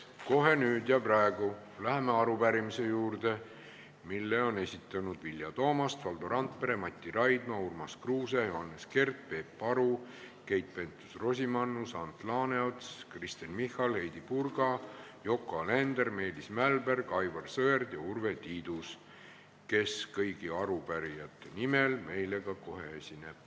Kohe nüüd ja praegu läheme arupärimise juurde, mille on esitanud Vilja Toomast, Valdo Randpere, Mati Raidma, Urmas Kruuse, Johannes Kert, Peep Aru, Keit Pentus-Rosimannus, Ants Laaneots, Kristen Michal, Heidy Purga, Yoko Alender, Meelis Mälberg, Aivar Sõerd ja Urve Tiidus, kes kõigi arupärijate nimel meile ka kohe esineb.